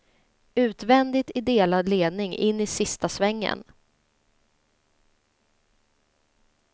Utvändigt i delad ledning in i sista svängen.